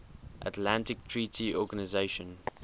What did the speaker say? atlantic treaty organisation